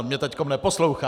On mě teď neposlouchá.